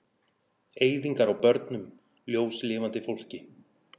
Eyðingar á börnum, ljóslifandi fólki.